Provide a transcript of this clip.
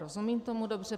Rozumím tomu dobře?